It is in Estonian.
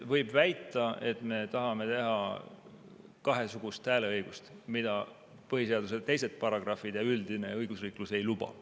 Võib väita, et me tahame teha kahesugust hääleõigust, mida põhiseaduse teised paragrahvid ja üldine õigusriiklus ei luba.